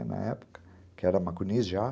Na época, que era maconiz já.